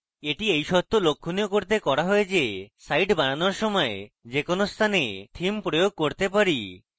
এটি এই সত্য লক্ষণীয় করতে করা হয় যে site বানানোর সময় যে কোনো স্থানে theme প্রয়োগ করতে পারি